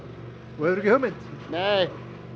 þú hefur ekki hugmynd nei